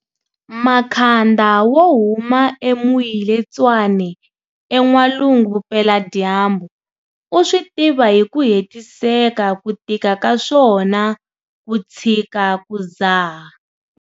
Makhanda wo huma eMoiletswane eN'walungu Vupeladyambu u swi tiva hi ku hetiseka ku tika ka swona ku tshika ku dzaha.